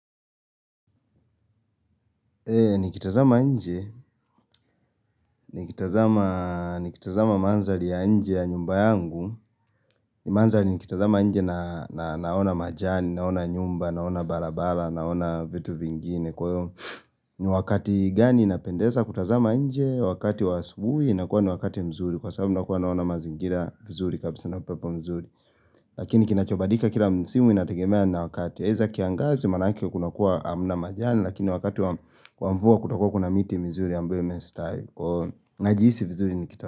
Ni kitazama nje, ni kitazama mandhari ya nje ya nyumba yangu. Ni mandhari ni kitazama nje naona majani, naona nyumba, naona barabara, naona vitu vingine kwa hiyo. Ni wakati gani inapendeza kutazama nje, wakati wa asubuhi, inakuwa ni wakati mzuri. Kwa sababu nakuwa naona mazingira mzuri, kabisa na upepo mzuri. Lakini kinachobadika kila msimu inategemea na wakati eza kiangazi manake kuna kuwa hamna majani. Lakini wakati wa mvua kutakua kuna miti mizuri ambayo imestawi. Najihisi vizuri ni kita.